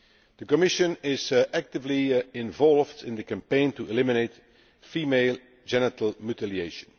The Commission is actively involved in the campaign to eliminate female genital mutilation.